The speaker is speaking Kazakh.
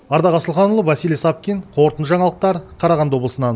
ардақ асылханұлы василий савкин қорытынды жаңалықтар қарағанды облысынан